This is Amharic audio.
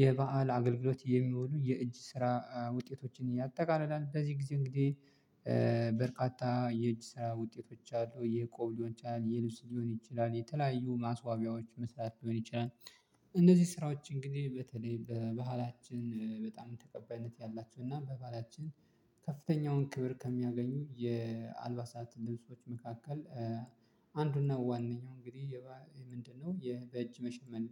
የበአል አገልግሎት የሚሆኑ የእጅ ስራ ውጤቶችን ያጠቃልላል በዚህ ጊዜ እንግዲህ በርካታ የእጅ ስራ ውጤቶች አሉ የቆብሎን ሊሆን ይችላል የልብስ ሊሆን ይችላል የተለያዩ ማስዋቢያዎች መስራት ሊሆን ይችላል። እንደዚህ ስራዎች እንግዲህ በተለይ በባህላችን በጣም ተቀባይነት ያላቸው እና በባህላችን ከፍተኛውን ክብር ከሚያገኙ የአልባሳት ልብሶች መካከል አንዱና ዋነኛው እንግዲህ ምንድነው የበጅ መሸመን